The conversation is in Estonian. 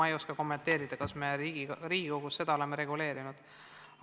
Ma ei oska seda kommenteerida, kas me Riigikogus oleme seda reguleerinud.